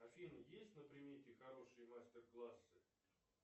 афина есть на примете хорошие мастер классы